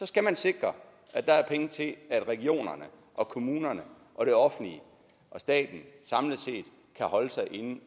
skal man sikre at der er penge til at regionerne og kommunerne og det offentlige og staten samlet set kan holde sig inden